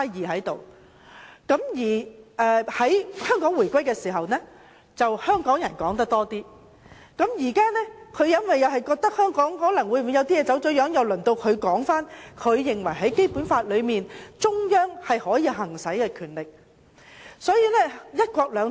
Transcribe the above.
在香港回歸時，香港人就此事談論得比較多，但現在由於中央政府覺得香港可能有些事情走了樣，中央政府便說明它認為在《基本法》中它可以行使的權力。